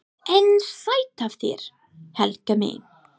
EN SÆTT AF ÞÉR, HELGA MÍN!